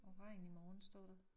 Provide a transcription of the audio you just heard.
Og regn i morgen står der